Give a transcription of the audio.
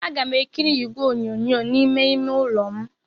Aga m ekiri igwe onyonyo n'ime ime ụlọ m.